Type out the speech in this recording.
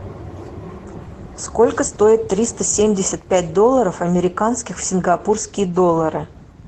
сколько стоит триста семьдесят пять долларов американских в сингапурские доллары